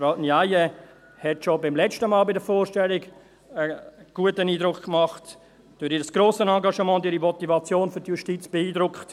Frau Ndiaye hat schon letztes Mal bei der Vorstellung einen guten Eindruck gemacht und durch ihr grosses Engagement und ihre Motivation für die Justiz beeindruckt.